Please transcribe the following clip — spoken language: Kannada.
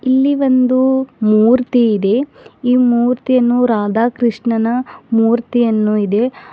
ಇಲ್ಲಿ ಒಂದು ಮೂರ್ತಿ ಇದೆ ಈ ಮೂರ್ತಿಯನ್ನು ರಾಧಾಕೃಷ್ಣನ ಮೂರ್ತಿಯನ್ನು ಇದೆ.